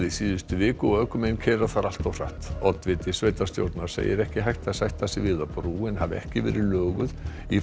í síðustu viku og ökumenn keyra þar allt of hratt oddviti sveitarstjórnar segir ekki hægt að sætta sig við að brúin hafi ekki verið löguð